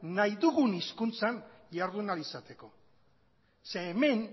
nahi dugun hizkuntzan jardun ahal izateko zeren hemen